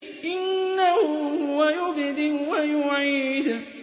إِنَّهُ هُوَ يُبْدِئُ وَيُعِيدُ